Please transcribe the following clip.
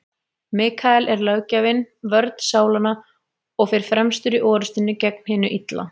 Mikael er löggjafinn, vörn sálanna, og fer fremstur í orrustunni gegn hinu illa.